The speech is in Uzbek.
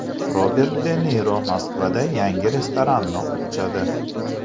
Robert De Niro Moskvada yangi restoranini ochadi.